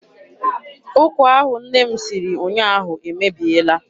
Ụkwa ahụ nne m siri ụnyaahụ emebiela.